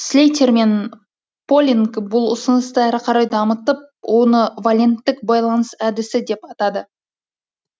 слейтер мен л полинг бұл ұсынысты әрі қарай дамытып оны валенттік байланыс әдісі деп атады